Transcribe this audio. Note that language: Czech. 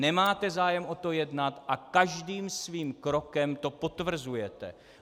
Nemáte zájem o tom jednat a každým svým krokem to potvrzujete.